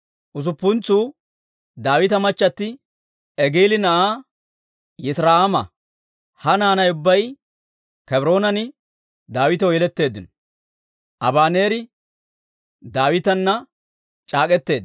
Usuppuntsuu Daawita machchatti Egili na'aa Yitira'aama; ha naanay ubbay Kebroonan Daawitaw yeletteeddino.